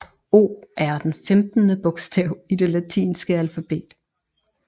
O er den femtende bogstav i det latinske alfabet